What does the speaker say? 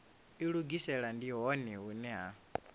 ilugisela ndi hone hune ha